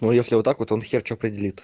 ну если вот так вот он хер что определит